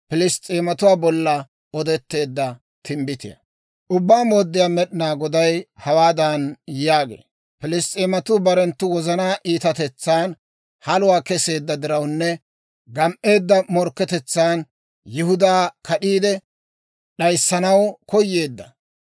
« ‹Ubbaa Mooddiyaa Med'inaa Goday hawaadan yaagee; «Piliss's'eematuu barenttu wozanaa iitatetsan haluwaa keseedda dirawunne gam"eedda morkketetsaan Yihudaa kad'iide d'ayissanaw koyeedda,